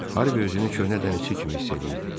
Harvi özünü köhnə dənizçi kimi hiss eləyirdi.